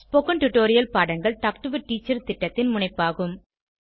spoken tutorial பாடங்கள் talk to a teacher திட்டத்தின் முனைப்பாகும்